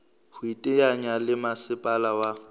ho iteanya le masepala wa